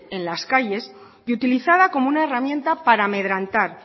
en las calles y utilizada como una herramienta para amedrentar